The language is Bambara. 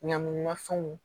Ɲamaminɛn ma fɛnw